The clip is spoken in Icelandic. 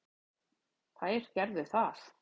Þær gerðu það.